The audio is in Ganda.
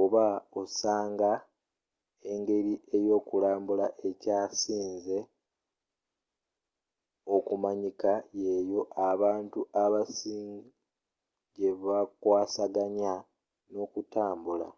oba osanga engeri eyokulambula ekyasinze okumanyika yeyo abantu abasing gyebakwasaganya nokutambula